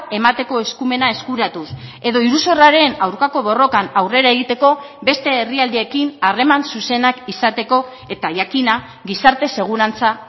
emateko eskumena eskuratuz edo iruzurraren aurkako borrokan aurrera egiteko beste herrialdeekin harreman zuzenak izateko eta jakina gizarte segurantza